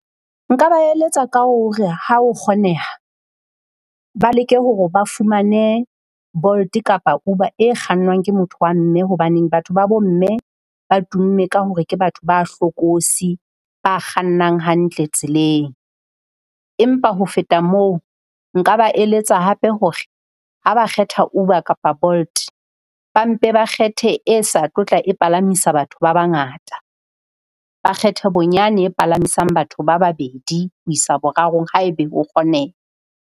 Nka ba eletsa ka hore ha ho kgoneha, ba leke hore ba fumane Bolt kapa Uber e kgannwang ke motho wa mme hobaneng. Batho ba bo mme ba tumme ka hore ke batho ba hlokosi ba kgannang hantle tseleng. Empa ho feta moo, nka ba eletsa hape hore ha ba kgetha Uber kapa Bolt ba mpe ba kgethe e sa tlo tla e palamisa batho ba bangata. Ba kgethe bonyane e palamisang batho ba babedi ho isa boraro haebe ho kgoneha.